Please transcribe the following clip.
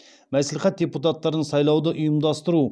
мәслихат депутаттарын сайлауды ұйымдастыру